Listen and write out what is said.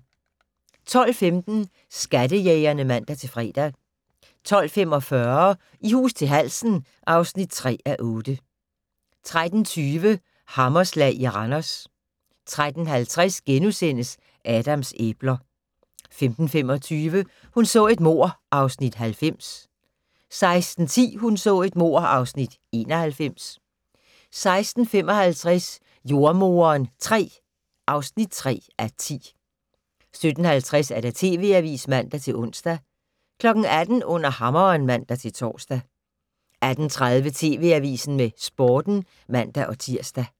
12:15: Skattejægerne (man-fre) 12:45: I hus til halsen (3:8) 13:20: Hammerslag i Randers 13:50: Adams æbler * 15:25: Hun så et mord (Afs. 90) 16:10: Hun så et mord (Afs. 91) 16:55: Jordemoderen III (3:10) 17:50: TV Avisen (man-ons) 18:00: Under hammeren (man-tor) 18:30: TV Avisen med Sporten (man-tir)